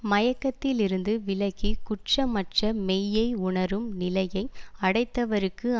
மயக்கத்திலிருந்து விலகி குற்றமற்ற மெய்யை உணரும் நிலையை அடைத்தவர்க்கு